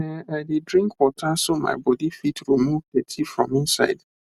ehn i dey drink water so my body fit remove dirty from inside